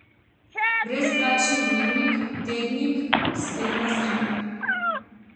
Brezplačni dnevnik, tednik, spletna stran.